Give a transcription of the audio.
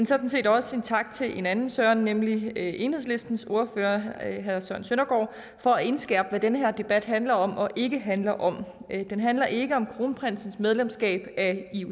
sådan set også en tak til en anden søren nemlig enhedslistens ordfører herre søren søndergaard for at indskærpe hvad den her debat handler om og ikke handler om den handler ikke om kronprinsens medlemskab af